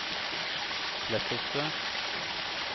Kleppestø